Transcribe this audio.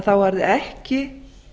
þá er það ekki